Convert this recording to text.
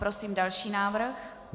Prosím další návrh.